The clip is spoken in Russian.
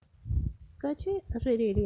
скачай ожерелье